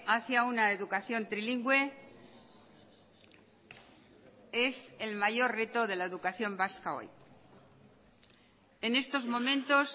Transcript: hacia una educación trilingüe es el mayor reto de la educación vasca hoy en estos momentos